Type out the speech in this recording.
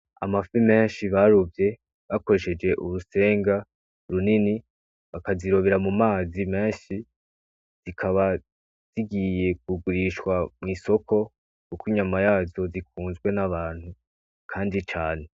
Amafi menshi barovye bakoresheje urusenga runini bakazirobera mu mazi menshi zikaba zigiye kugurishwa kw'isoko kuko inyama yazo zikunzwe n'abantu kandi cane.